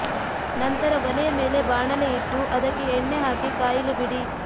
ನಂತರ ಒಲೆಯ ಮೇಲೆ ಬಾಣಲೆ ಇಟ್ಟು ಅದಕ್ಕೆ ಎಣ್ಣೆ ಹಾಕಿ ಕಾಯಲು ಬಿಡಿ